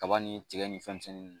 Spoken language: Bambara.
Kaba ni tigɛ ni fɛn misɛn